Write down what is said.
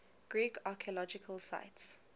greek archaeological sites